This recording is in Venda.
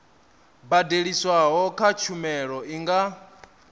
badeliswaho kha tshumelo i nga